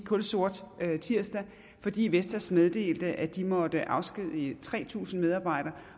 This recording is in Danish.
kulsort tirsdag fordi vestas meddelte at de måtte afskedige tre tusind medarbejdere